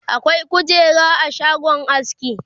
akwai kujera a shagon aski